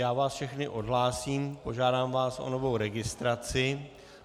Já vás všechny odhlásím, požádám vás o novou registraci.